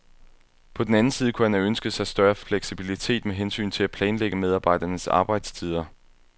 På den anden side kunne han have ønsket sig større fleksibilitet med hensyn til at planlægge medarbejdernes arbejdstider.